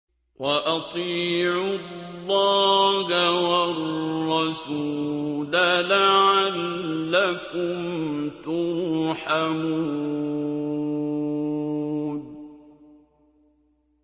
وَأَطِيعُوا اللَّهَ وَالرَّسُولَ لَعَلَّكُمْ تُرْحَمُونَ